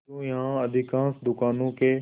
किंतु यहाँ अधिकांश दुकानों के